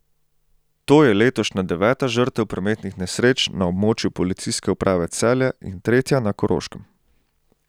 To je letošnja deveta žrtev prometnih nesreč na območju policijske uprave Celje in tretja na Koroškem.